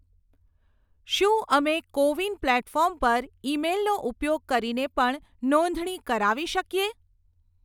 શું અમે CoWIN platform પર ઈમેઈલનો ઉપયોગ કરીને પણ નોંધણી કરાવી શકીએ?